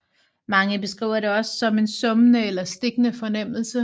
Mange beskriver det også som en summende eller stikkende fornemmelse